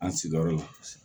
An sigiyɔrɔ la